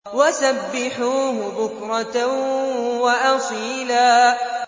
وَسَبِّحُوهُ بُكْرَةً وَأَصِيلًا